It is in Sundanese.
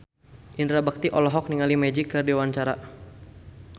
Indra Bekti olohok ningali Magic keur diwawancara